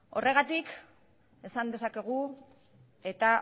horregatik esan dezakegu eta